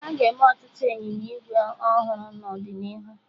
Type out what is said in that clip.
Aga eme ọtụtụ ịnyịnya ígwè ọhụrụ n'ọdịnihu